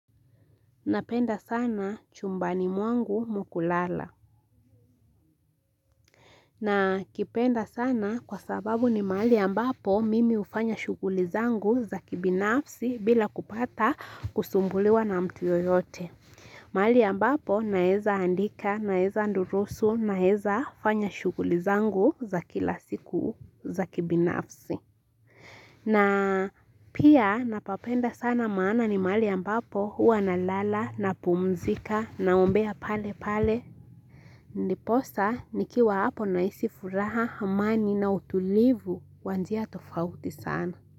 Napenda sana chumbani mwangu mkulala. Na kipenda sana kwa sababu ni mahali ambapo mimi hufanya shughuli zangu za kibinafsi bila kupata kusumbuliwa na mtu yoyote. Mahali ambapo naeza andika, naeza andurusu, naeza fanya shughuli zangu za kila siku za kibinafsi. Na pia napapenda sana maana ni mahali ambapo huwa na lala nspumzika na ombea pale pale. Ndiposa nikiwa hapo nahisi furaha amani na utulivu kwa njia tofauti sana.